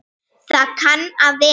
Það kann að vera.